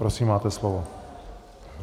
Prosím, máte slovo.